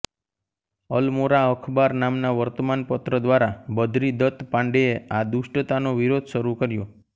અલમોરા અખબાર નામના વર્તમાન પત્ર દ્વારા બદરી દત્ત પાંડેએ આ દુષ્ટતાનો વિરોધ શરૂ કર્યો